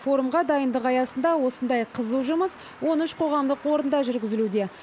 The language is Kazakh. форумға дайындық аясында осындай қызу жұмыс он үш қоғамдық орында жүргізілуде